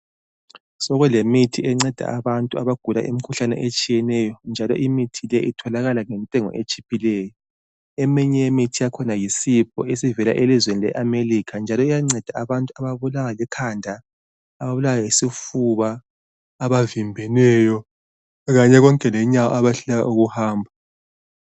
Sokulemithi enceda abantu abagula imikhuhlane etshiyeneyo njalo imithi leyi itholaka ngentengo etshiphileyo, eminye yemithi yakhona yi sipho esivela elizweni leAmerica njalo iyanceda abantu ababulawa likhanda, ababulawa yisifuba, abavimbeneyo, kanye konke lenyawo abayehluleka ukuhamba.